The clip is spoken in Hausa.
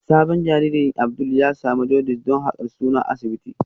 Sabon jaririn Abdul ya samu jaundice don haka suna asibiti